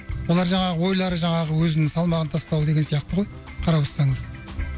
олар жаңағы ойлары жаңағы өзін салмағын тастау деген сияқты ғой қарап отырсаңыз